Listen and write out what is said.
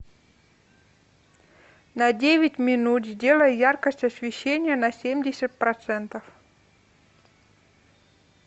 на девять минут сделай яркость освещения на семьдесят процентов